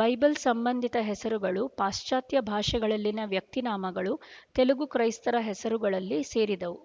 Bible ಸಂಬಂಧಿತ ಹೆಸರುಗಳು ಪಾಶಚಾತ್ಯ ಭಾಷೆಗಳಲ್ಲಿನ ವ್ಯಕ್ತಿನಾಮಗಳು ತೆಲುಗು ಕ್ರೈಸ್ತರ ಹೆಸರುಗಳಲ್ಲಿ ಸೇರಿದವು